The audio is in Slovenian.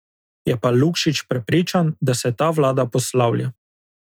Je pa Lukšič prepričan, da se ta vlada poslavlja.